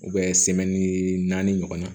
naani ɲɔgɔnna